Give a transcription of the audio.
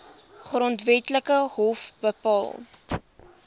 grondwetlike hof bepaal